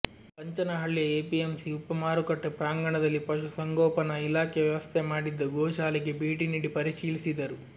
ಪಂಚನಹಳ್ಳಿಯ APMC ಉಪ ಮಾರುಕಟ್ಟೆ ಪ್ರಾಂಗಣದಲ್ಲಿ ಪಶು ಸಂಗೋಪನಾ ಇಲಾಖೆ ವ್ಯವಸ್ಥೆ ಮಾಡಿದ್ದ ಗೋಶಾಲೆಗೆ ಭೇಟಿ ನೀಡಿ ಪರಿಶೀಲಿಸಿದರು